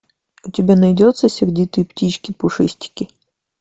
у тебя найдется сердитые птички пушистики